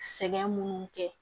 Sɛgɛn minnu kɛ